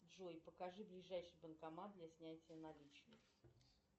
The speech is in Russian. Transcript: джой покажи ближайший банкомат для снятия наличных